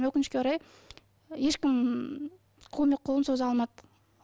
өкінішке орай ешкім көмек қолын соза алмады